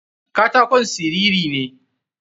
Katakon siriri ne.